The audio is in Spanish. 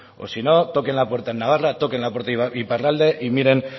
por ciento o sí no toquen la puerta en navarra toquen la puerta en iparralde y miren